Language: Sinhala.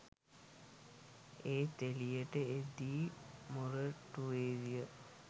එත් එලියට එද්දී මොරටුවේ ය